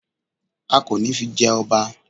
A kò ní fi jẹ ọba